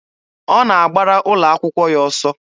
Ọ na-agbara ụlọ akwụkwọ ya ọsọ.